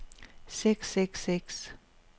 seks seks seks